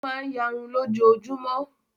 Ó máa ń ìyarun lójoojúmọ́.